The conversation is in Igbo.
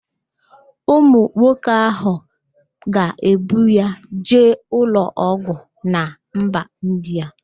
Ụmụ nwoke ahụ ga-ebu ya jee ụlọọgwụ na mba Indịa